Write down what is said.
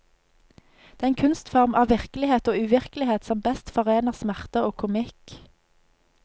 Den kunstform av virkelighet og uvirkelighet som best forener smerte og komikk.